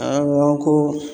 Awɔ ko